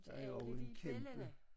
Til alle de bellana